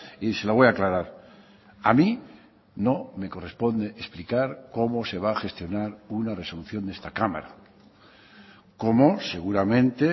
y se lo voy a aclarar a mí no me corresponde explicar cómo se va a gestionar una resolución de esta cámara cómo seguramente